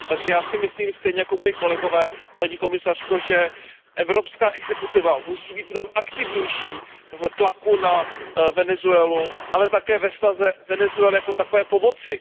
Takže já si myslím stejně jako moji kolegové, paní komisařko, že evropská exekutiva musí být mnohem aktivnější v tlaku na Venezuelu, ale také ve snaze Venezuele jako takové pomoci.